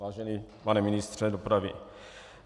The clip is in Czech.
Vážený pane ministře dopravy.